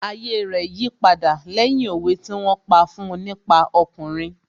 Ayé rẹ̀ yí padà lẹ́yìn òwe tí wón pa fún un nípa ọkùnrin